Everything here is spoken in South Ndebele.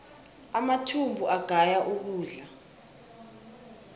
amathumbu agaya ukudla